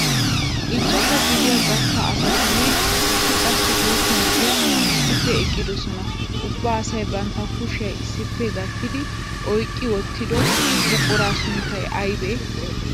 Ichchashshaa gidiyaa gastta asatinne issi qassi guutta na'ay issippe eqqidosan ubba asay bantta kushiyaa issippe gattidi oyqqi wottido buquraa sunttay aybee?